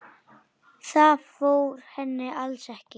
Það fór henni alls ekki.